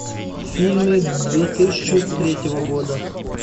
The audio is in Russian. фильмы две тысячи третьего года